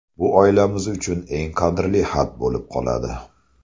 Bu oilamiz uchun eng qadrli xat bo‘lib qoladi.